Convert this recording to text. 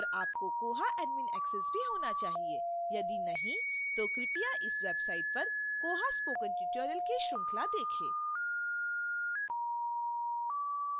और आपको koha admin access भी होना चाहिए यदि नहीं तो कृपया इस website पर koha spoken tutorial की श्रृंखला देखें